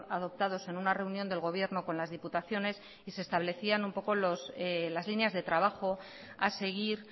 adoptados en una reunión del gobierno con las diputaciones y se establecían un poco las líneas de trabajo a seguir